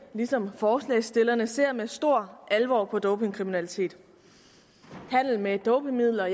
ligesom forslagsstillerne ser med stor alvor på dopingkriminalitet handel med dopingmidler